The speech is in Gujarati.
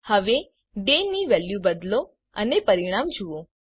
હવે ડે ની વેલ્યુ બદલો અને પરિણામ જુઓ